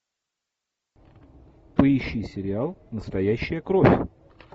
поищи сериал настоящая кровь